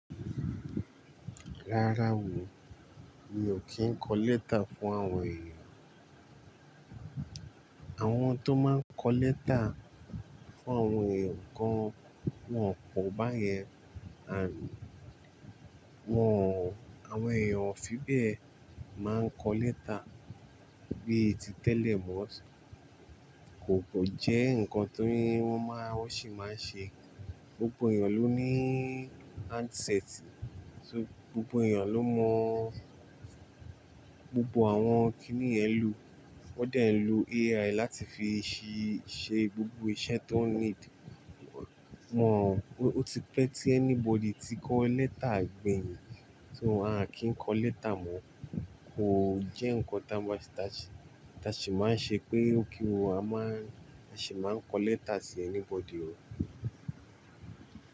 Rárá o, mi ò kí ń kọ lẹ́tà fún àwọn èèyàn. Àwọn tó máa ń kọ lẹ́tà fún àwọn èèyàn kan, wọ́n o pọ̀ báyẹn, àn, wọ́n, àwọn èèyàn ò fi bẹ́ẹ̀ máa ń kọ lẹ́tà. Bíi ti tẹ́lẹ̀ mọ́, kò kàn jẹ́ nǹkan tíí wọ́n máa, wọ́n sì máa ń ṣe. Gbogbo èèyàn ló ní ansẹẹ̀tì, so gbogbo èèyàn ló mọ gbogbo àwọn kíní yẹ̀n lò. Wọ́n dẹ̀ nlo EaI láti fi ṣí ṣe gbogbo iṣẹ́ tó ń níìdì. Wọ́n, ó ti pẹ́ tí anybody ti kọ lẹ́tà gbẹ̀yìn. So a kì í kọ lẹ́tà mọ́. Kò jẹ́ nǹkan táa sì máa ń ṣe pé ó kí o, a máa sì máa ń kọ lẹ́tà sí ẹ́níbọdì o.